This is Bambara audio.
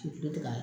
K'i to ne ka